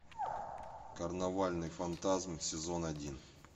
карнавальный фантазм сезон один